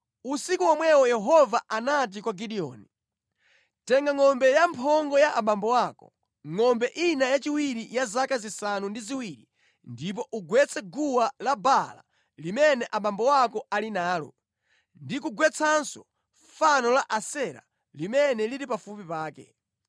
Usiku womwewo Yehova anati kwa Gideoni, “Tenga ngʼombe ya mphongo ya abambo ako, ngʼombe ina yachiwiri ya zaka zisanu ndi ziwiri ndipo ugwetse guwa la Baala limene abambo ako ali nalo, ndi kugwetsanso fano la Asera limene lili pafupi pake.